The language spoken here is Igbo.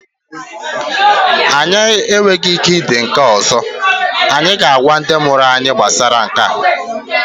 Anyị enweghị ike idi nke a ọzọ, anyị ga-agwa ndị mụrụ anyị gbasara Nke a